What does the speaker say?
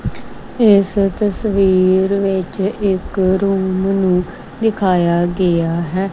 ਇਸ ਤਸਵੀਰ ਵਿੱਚ ਇੱਕ ਰੂਮ ਨੂੰ ਦਿਖਾਇਆ ਗਿਆ ਹੈ।